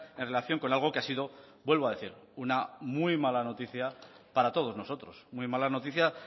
en relación con algo que ha sido vuelvo a decir una muy mala noticia para todos nosotros muy mala noticia